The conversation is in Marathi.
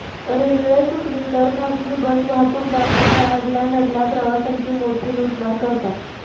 रेल्वे चुकली तर खासगी बस वाहतूकदार अशा अडल्या नडल्या प्रवाशांची मोठी लूटमार करतात